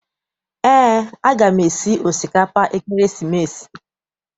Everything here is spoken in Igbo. Eé, a gam esi osikapa ekeresimesi.